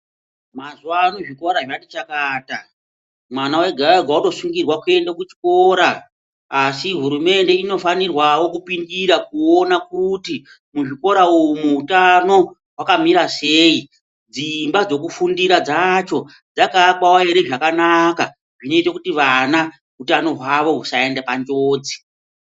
Mazuva ano zvikora zvati chakata mwana ega-ega votosungirwa kuenda kuchikora. Asi hurumende inofanirwavo kupindira kuona kuti muzvikora umu utano hwakamira sei. Dzimba dzekufundira dzacho dzakaakwavo ere zvakanaka zvinoite kuti vana utano hwavo husaende panjodzi.